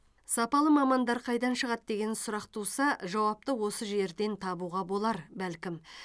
сапалы мамандар қайдан шығады деген сұрақ туса жауапты осы жерден табуға болар бәлкім